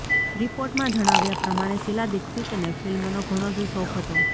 રિપોર્ટમાં જણાવ્યાં પ્રમાણે શીલા દીક્ષિતને ફિલ્મનો ઘણો જ શોખ હતો